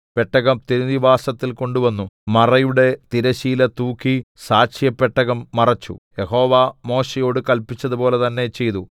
പെട്ടകം തിരുനിവാസത്തിൽ കൊണ്ടുവന്നു മറയുടെ തിരശ്ശീല തൂക്കി സാക്ഷ്യപെട്ടകം മറച്ചു യഹോവ മോശെയോട് കല്പിച്ചതുപോലെ തന്നെ ചെയ്തു